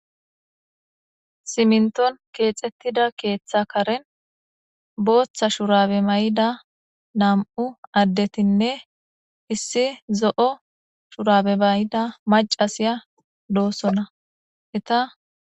Simminton keexettida keeththa karen booththa shuraabe mayida nam7u addetinne issi zo7o shuraabe mayida maccasiya doosona.